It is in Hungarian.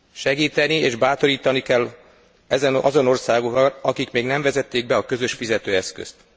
Segíteni és bátorítani kell azon országokat, akik még nem vezették be a közös fizetőeszközt.